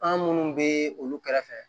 An minnu bɛ olu kɛrɛfɛ